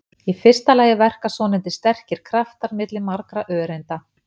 Í fyrsta lagi verka svonefndir sterkir kraftar milli margra öreinda.